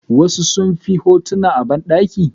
Wasu sunfi hotu a bandaki.